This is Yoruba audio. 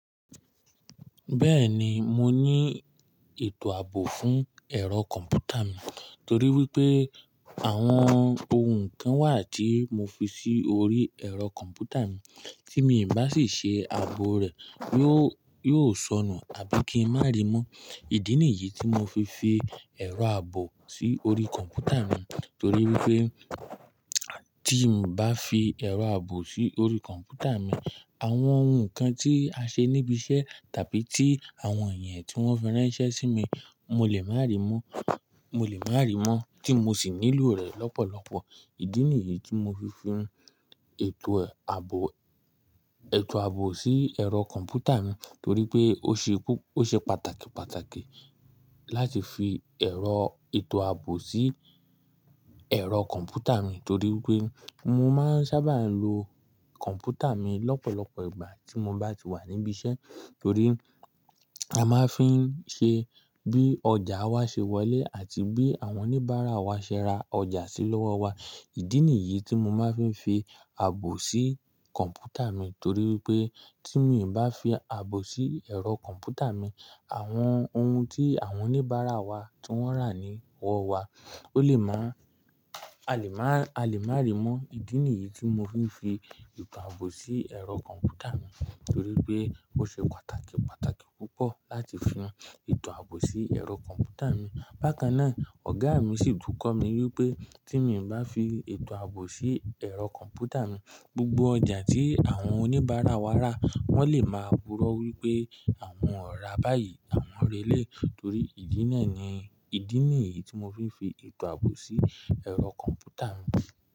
Bẹ́ẹ̀ni, mo ní ètò àbò fún ẹ̀rọ kọ̀m̀pútà mi, torí wípé àwọn ohun kan wà tí mo fi sí orí ẹ̀rọ kọ̀m̀pútà mi tí mi ò bá sì ṣe ààbò rẹ̀, yóò, yóò sọnù àbí kí n má ri mó. Ìdí nìyí tí mo fi fi ẹ̀rọ àbò sí orí kọ̀m̀pútà mi, torí wípé tí n bá fi ẹ̀rọ àbò sí orí kọ̀m̀pútà mi, àwọn ohun kan tí a ṣe níbi iṣẹ́ tàbí tí àwọn èèyàn tí wọ́n fi rá iṣẹ́ sí mi, mo lè máa ríi mó, mo lè máa ríi mó tí mo sì nílò rẹ̀ lọ́pọ̀lọpọ̀. Ìdí nìyí tí mo fi fi ètò àbò, ètò àbò sí ẹ̀rọ kọ̀m̀pútà mi torí pé ó ṣe púpọ̀, ó ṣe pàtàkì, pàtàkì láti fi ẹ̀rọ ètò àbò sí ẹ̀rọ kọ̀m̀pútà mi torí wípé mo máa ń sábà lo kọ̀m̀pútà mi lọ́pọ̀lọpọ̀ ìgbà tí mo bá ti wà níbi iṣẹ́, torí a máa ń fí ṣe bí ọjà wa ṣe wọlé àti bí àwọn oníbàárà wa ṣe ra ọjà sí lọ́wọ́ wa. Ìdí nìyí tí mo máa ń fi fi àbò sí kọ̀m̀pútà mi torí wípé tí mi ò bá fi àbò sí ẹ̀rọ kọ̀m̀pútà mi, àwọn ohun tí àwọn oníbàárà wa tí wọ́n rà ní wọ́ wa ó lè má, a lè má, a lè má ríi mó. Ìdí nìyí tí mo fi fi ètò àbò sí ẹ̀rọ kọ̀m̀pútà mi torí pé ó ṣe pàtàkì, pàtàkì púpọ̀ láti fi ètò àbò sí ẹ̀rọ kọ̀m̀pútà mi. Bákanná, ọ̀gá mi sì tún kọ́ mi wípé tí mi ò bá fi ètò àbò sí ẹ̀rọ kọ̀m̀pútà mi, gbogbo ọjà tí àwọn oníbàárà wa rà wọ́n lè máa púrọ́ wípé àwọn ò ra báyìí, àwọn ré lè torí ìdí náà ni. Ìdí nìyí tí mo fi fi ètò àbò sí ẹ̀rọ kọ̀m̀pútà mi.